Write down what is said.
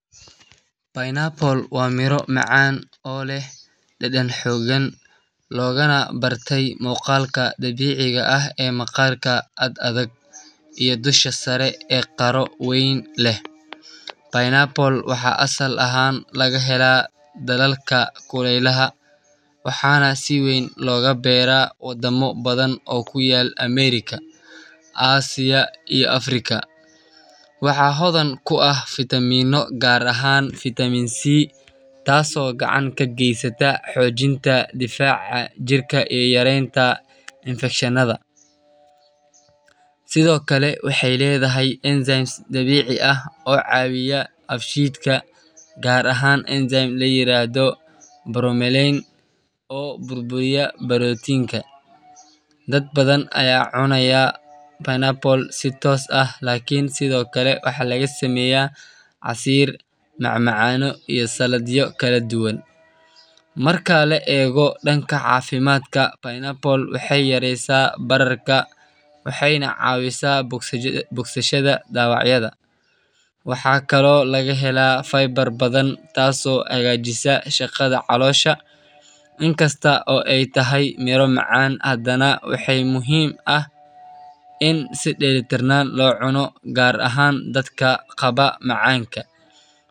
Pineapple waa miro macan oo leh dadan xogan logana barte muqalka dabiciga ah, waxaa asal ahan laga hela asia iyo america, dadbadan aya cunaya waxaa laga sameya casir, waxena cawisa bogsashaada dawaca, in si dela tiran lo cuno gar ahan dadka qabo macanka.